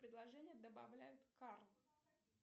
предложили добавляют карты